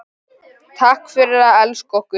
Takk fyrir að elska okkur.